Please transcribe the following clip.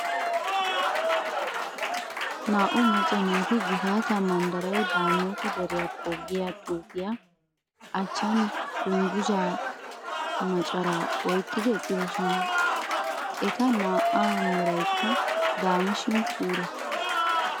Naa"u macca naati gifataa manddaray daamoota deriyakko giya xuufiya achchan dungguzaa macaraa oyqqidi eqqidosona. Eta naa"aa meraykka daama shin puula.